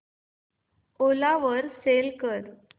ओला वर सेल कर